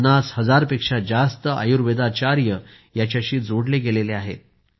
50 हजार पेक्षा जास्त आयुर्वेदाचार्य याच्याशी जोडले गेले आहेत